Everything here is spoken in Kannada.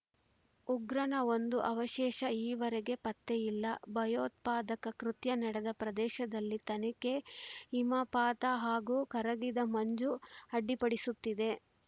ಉಗ್ರನ ಒಂದೂ ಅವಶೇಷ ಈವರೆಗೆ ಪತ್ತೆ ಇಲ್ಲ ಭಯೋತ್ಪಾದಕ ಕೃತ್ಯ ನಡೆದ ಪ್ರದೇಶದಲ್ಲಿ ತನಿಖೆ ಹಿಮಪಾತ ಹಾಗೂ ಕರಗಿದ ಮಂಜು ಅಡ್ಡಿಪಡಿಸುತ್ತಿದೆ